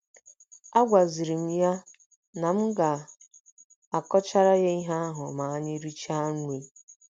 Agwaziri m ya na m ga - akọchara ya ihe ahụ ma anyị richaa nri.